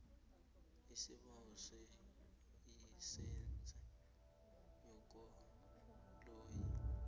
isibawo selayisense yekoloyi